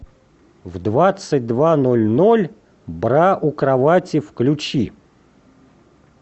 в двадцать два ноль ноль бра у кровати включи